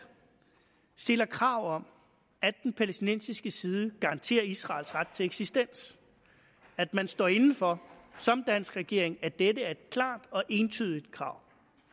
stiller krav om at den palæstinensiske side garanterer israels ret til eksistens at man står inde for som dansk regering at dette er et klart og entydigt krav